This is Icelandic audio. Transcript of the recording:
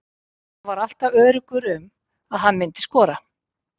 Hann var alltaf öruggur um að hann myndi skora.